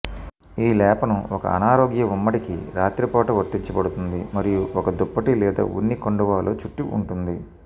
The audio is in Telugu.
ఈ లేపనం ఒక అనారోగ్య ఉమ్మడికి రాత్రిపూట వర్తించబడుతుంది మరియు ఒక దుప్పటి లేదా ఉన్ని కండువాలో చుట్టి ఉంటుంది